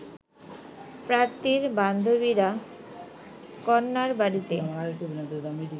পাত্রীর বান্ধবীরা কন্যার বাড়িতে